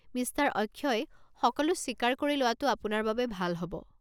Mister Akshay, সকলো স্বীকাৰ কৰি লোৱাটো আপোনাৰ বাবে ভাল হ'ব।